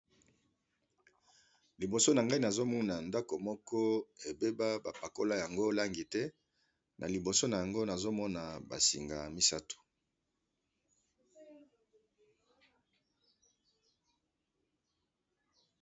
Liboso na ngai nazomona ndako moko ebeba bapakola yango langi te na liboso na yango nazomona basingay misato.